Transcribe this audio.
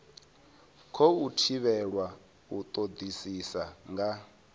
khou thivhelwa u todisisa nga